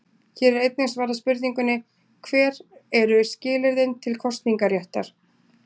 Hér er einnig svarað spurningunni: Hver eru skilyrðin til kosningaréttar?